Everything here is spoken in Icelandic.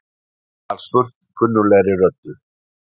var spurt kunnuglegri röddu.